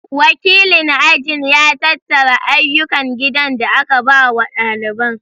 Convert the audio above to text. Wakilin ajin ya tattara ayyukan gidan da aka ba wa ɗaliban